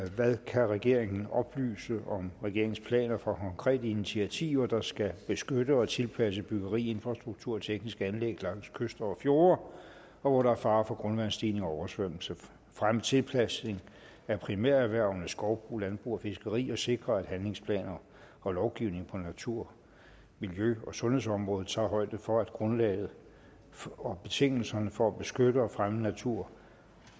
hvad kan regeringen oplyse om regeringens planer for konkrete initiativer der skal beskytte og tilpasse byggeri infrastruktur og tekniske anlæg langs kyster og fjorde og hvor der er fare for grundvandsstigning og oversvømmelse fremme tilpasning af primærerhvervene skovbrug landbrug og fiskeri og sikre at handlingsplaner og lovgivning på natur miljø og sundhedsområdet tager højde for at grundlaget og betingelserne for at beskytte og fremme natur